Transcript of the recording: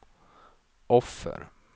offer